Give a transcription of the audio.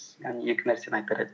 яғни екі нәрсені айтар едім